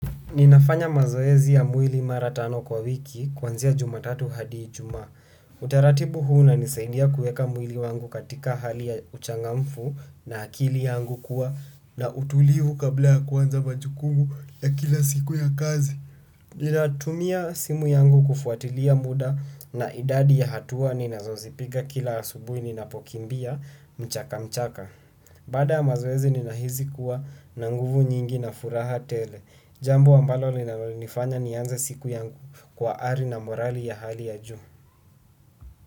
Ninafanya mazoezi ya mwili mara tano kwa wiki kuanzia jumatatu hadi ijumaa. Utaratibu huu unanisaindia kueka mwili wangu katika hali ya uchangamfu na akili yangu kuwa na utulivu kabla ya kuanza majukumu ya kila siku ya kazi. Ninatumia simu yangu kufuatilia muda na idadi ya hatua ninazozipiga kila asubuhi ninapokimbia mchaka mchaka. Baada ya mazoezi ninahizi kuwa na nguvu nyingi na furaha tele. Jambo ambalo linalonifanya nianze siku yangu kwa ari na morali ya hali ya juu.